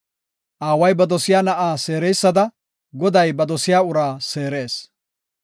Aaway ba dosiya na7a seereysada, Goday ba dosiya uraa seerees.